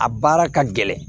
A baara ka gɛlɛn